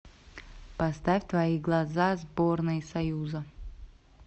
поставь твои глаза сборной союза